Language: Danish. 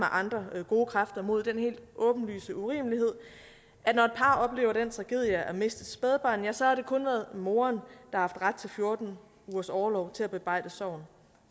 andre gode kræfter mod den helt åbenlyse urimelighed at når et par oplever den tragedie at miste et spædbarn ja så har det kun været moren har haft ret til fjorten ugers orlov til at bearbejde sorgen